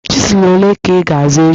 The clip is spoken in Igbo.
Chizụl ole ka ị ga-azụ echi?